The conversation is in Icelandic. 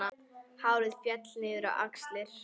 Hárið féll niður á axlir.